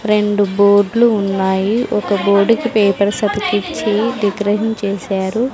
రెండు బోర్డ్లు ఉన్నాయి ఒక బోర్డు కి పేపర్స్ అతికిచ్చి డెకరేషన్ చేసారు.